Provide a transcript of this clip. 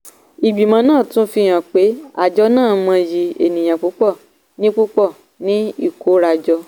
ìgbìmọ̀ náà tún ń fi hàn pé àjọ náà mọyì ènìyàn púpọ̀ ní púpọ̀ ní ikórajọ.